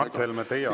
Mart Helme, teie aeg!